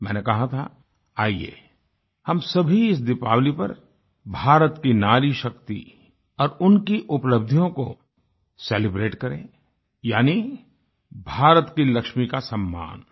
मैंने कहा था आइये हम सभी इस दीपावली पर भारत की नारी शक्ति और उनकी उपलब्धियों को सेलिब्रेट करें यानी भारत की लक्ष्मी का सम्मान